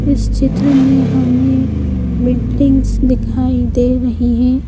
इस चित्र में हमें बिल्डिंग्स दिखाई दे रही हैं।